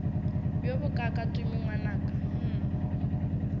bjo bokaaka tumi ngwanaka hm